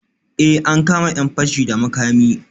Eh, an kama ‘yan fashi da makami